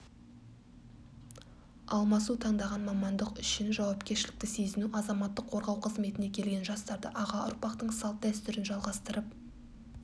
алмасу таңдаған мамандық үшін жауапкершілікті сезіну азаматтық қорғау қызметіне келген жастарды аға ұрпақтың салт-дәстүрін жалғастырып